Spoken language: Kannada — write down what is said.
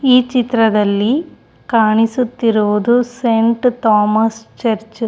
ಈ ಚಿತ್ರದಲ್ಲಿ ಕಾಣಿಸುತ್ತಿರುವುದು ಸೆಂಟ್ ಥಾಮಸ್ ಚರ್ಚ್ --